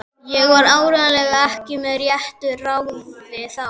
Ég var áreiðanlega ekki með réttu ráði þá.